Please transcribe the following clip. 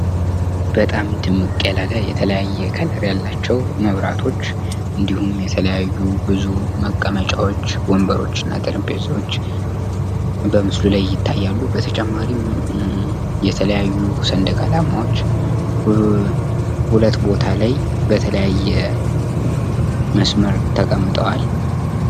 በጣም ድምቅ ያላለ የተለያየ ቀለም ያላቸው መብራቶች እንዲሁም የተለያዩ ብዙ መቀመጫዎች ወንበሮችና ጠረጴዛዎች በምስሉ ላይ ይታያሉ በተጨማሪም የተለያዩ ሰንደቅ አላማዎች ሁለት ቦታ ላይ በተለያየ መስመር ተቀምጠዋል ።